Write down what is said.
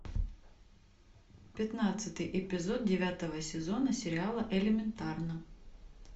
пятнадцатый эпизод девятого сезона сериала элементарно